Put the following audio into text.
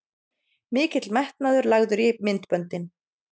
Mikill metnaður lagður í myndböndin